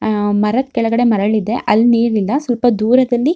ಅಹ್ ಮರದ ಕೆಳಗಡೆ ಮರಳಿದೆ ಅಲ್ಲಿ ನೀರನಿಂದ ಸ್ವಲ್ಪ ದೂರದಲ್ಲಿ --